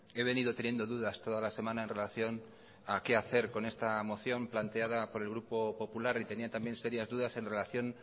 he venido teniendo dudas toda la semana en relación a qué hacer con esta moción planteada por el grupo popular y tenía también serias dudas en relación